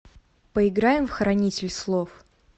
поиграем в хранитель слов